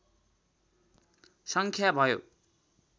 सङ्ख्या भयो